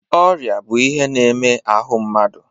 Ọrịa bụ ihe na-eme n'ahụ mmadụ.